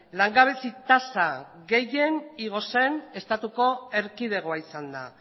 langabezi tasa gehien igo zen estatuko erkidegoa izan da